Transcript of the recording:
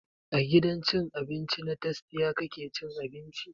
A gidan cin abinci na tastia kake cin abinci?